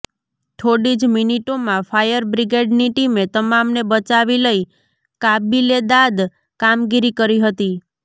થોડી જ મિનીટોમાં ફાયર બ્રિગેડની ટીમે તમામને બચાવી લઇ કાબીલેદાદ કામગીરી કરી હતી